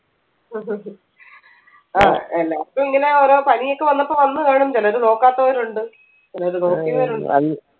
ആ എല്ലാർക്കും ഇങ്ങനെ ഓരോ പണിയൊക്കെ വന്നപ്പോ വന്ന് കാണും ചിലര് നോക്കാത്തവരുണ്ട് ചിലര് നോക്കിയവരുണ്ട്